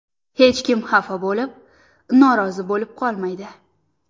Hech kim xafa bo‘lib, norozi bo‘lib qolmaydi.